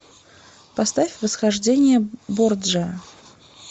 поставь восхождение борджиа